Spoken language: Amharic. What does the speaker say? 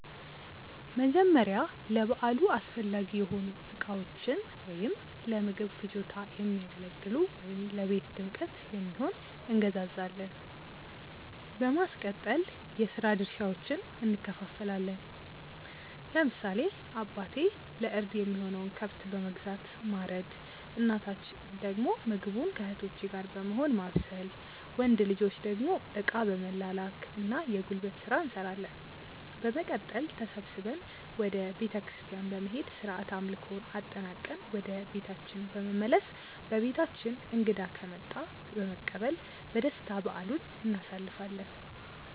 መጀመርያ ለበዓሉ አስፈላጊ የሆኑ እቃዎችን(ለምግብ ፍጆታ የሚያገለግሉ ወይም ለቤት ድምቀት የሚሆን)እንገዛዛለን። በማስቀጠል የስራ ድርሻዎችን እንከፋፈላለን። ለምሳሌ አባቴ ለእርድ የሚሆነውን ከብት በመግዛት ማረድ እናታችን ደግሞ ምግቡን ከእህቶቼ ጋር በመሆን ማብሰል። ወንድ ልጆች ደግሞ እቃ በመላላክ እና የጉልበት ስራ እንሰራለን። በመቀጠል ተሰብስበን ወደ ቤተክርስቲያን በመሄድ ስርዓተ አምልኮውን አጠናቅቀን ወደ ቤታችን በመመለስ በቤታችን እንግዳ ከመጣ በመቀበል በደስታ በዓሉን እናሳልፋለን።